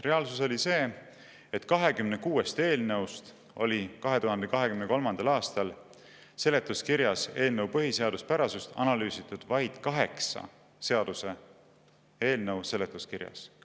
Reaalsus oli see, et 26 eelnõust oli 2023. aastal seletuskirjas eelnõu põhiseaduspärasust analüüsitud vaid 8 seaduseelnõu seletuskirjas.